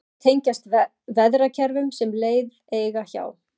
sumar tengjast veðrakerfum sem leið eiga hjá